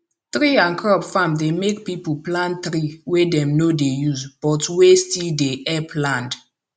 tree and crop farm dey make people plant tree wey dem no dey use but wey still dey help land